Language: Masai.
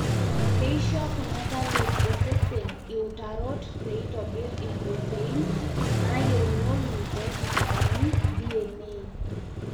keisho kuna talip osesen iutarot peitobir impurotein naayieunoyu pesusukani DNA.